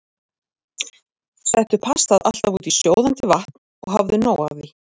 Settu pastað alltaf út í sjóðandi vatn og hafðu nóg af því.